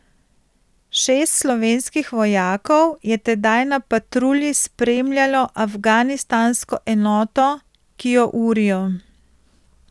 Šest slovenskih vojakov je tedaj na patrulji spremljalo afganistansko enoto, ki jo urijo.